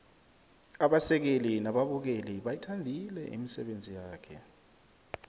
abasekeli nababukeli bayithandile imisebenzi yakhe